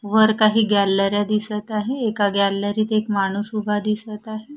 वर काही गॅलऱ्या दिसत आहे एका गॅलरीत एक माणूस उभा दिसत आहे.